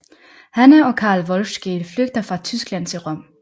Hanna og Karl Wolfskehl flygter fra Tyskland til Rom